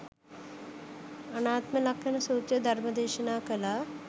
අනාත්ම ලක්ඛණ සූත්‍ර ධර්මය දේශනා කළා